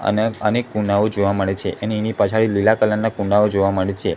અને અનેક કુંડાઓ જોવા મળે છે અને એની પછાડી લીલા કલર ના કુંડાઓ જોવા મળે છે.